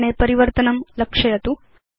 वर्णे परिवर्तनं लक्षयतु